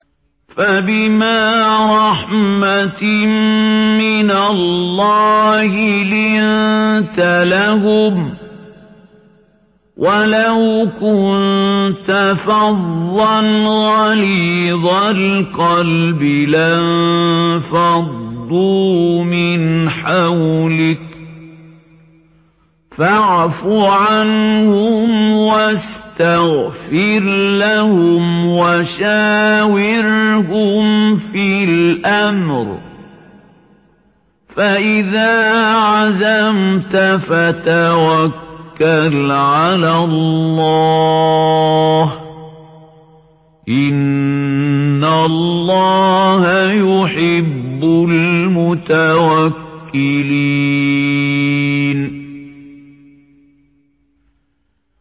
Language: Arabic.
فَبِمَا رَحْمَةٍ مِّنَ اللَّهِ لِنتَ لَهُمْ ۖ وَلَوْ كُنتَ فَظًّا غَلِيظَ الْقَلْبِ لَانفَضُّوا مِنْ حَوْلِكَ ۖ فَاعْفُ عَنْهُمْ وَاسْتَغْفِرْ لَهُمْ وَشَاوِرْهُمْ فِي الْأَمْرِ ۖ فَإِذَا عَزَمْتَ فَتَوَكَّلْ عَلَى اللَّهِ ۚ إِنَّ اللَّهَ يُحِبُّ الْمُتَوَكِّلِينَ